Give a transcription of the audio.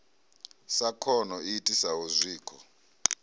sa khono i itisaho zwikho